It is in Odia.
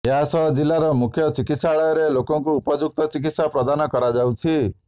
ଏହାସହ ଜିଲ୍ଲାର ମୁଖ୍ୟ ଚିକିତ୍ସାଳୟରେ ଲୋକଙ୍କୁ ଉପଯୁକ୍ତ ଚିକିତ୍ସା ପ୍ରଦାନ କରାଯାଉଛି